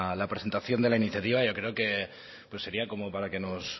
la presentación de la iniciativa yo creo que sería como para que nos